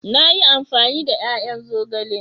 Na yi amfani da ya'yan zogale.